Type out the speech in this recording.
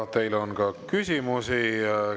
Ja teile on ka küsimusi.